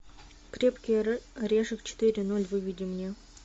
крепкий орешек четыре ноль выведи мне